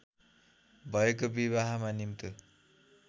भएको विवाहमा निम्तो